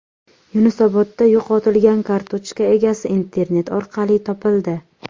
Yunusobodda yo‘qotilgan kartochka egasi internet orqali topildi.